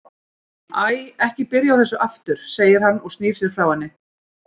Æ, ekki byrja á þessu aftur, segir hann og snýr sér frá henni.